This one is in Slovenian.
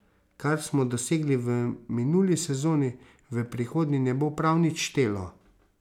Kar smo dosegli v minuli sezoni, v prihodnji ne bo prav nič štelo.